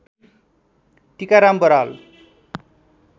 Tikaram Baral